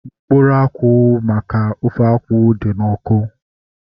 Mkpụrụ akwụ ahu maka ofe akwụ dị n'ọkụ